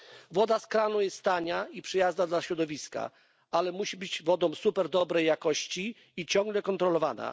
Woda z kranu jest tania i przyjazna dla środowiska, ale musi być wodą superdobrej jakości i musi być ciągle kontrolowana.